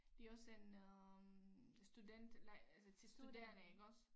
Det også en øh student altså til studerende iggås